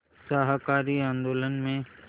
शाकाहारी आंदोलन में